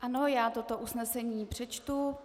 Ano, já toto usnesení přečtu.